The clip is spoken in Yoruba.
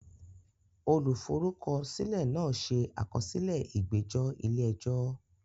Olùforúkọsílẹ̀ náà ṣe àkọsílẹ̀ ìgbẹ́jọ́ ilé ẹjọ́.